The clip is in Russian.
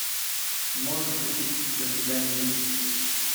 можешь включить до свидания дети